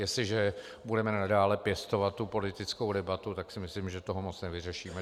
Jestliže budeme nadále pěstovat tu politickou debatu, tak si myslím, že toho moc nevyřešíme.